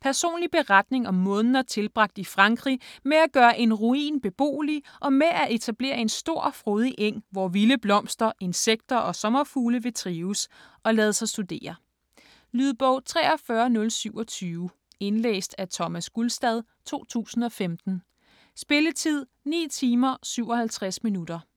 Personlig beretning om måneder tilbragt i Frankrig med at gøre en ruin beboelig, og med at etablere en stor og frodig eng, hvor vilde blomster, insekter og sommerfugle vil trives - og lade sig studere. Lydbog 43027 Indlæst af Thomas Gulstad, 2015. Spilletid: 9 timer, 57 minutter.